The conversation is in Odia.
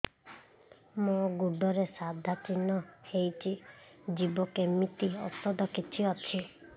ମୋ ଗୁଡ଼ରେ ସାଧା ଚିହ୍ନ ହେଇଚି ଯିବ କେମିତି ଔଷଧ କିଛି ଅଛି